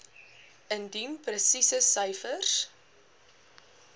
indien presiese syfers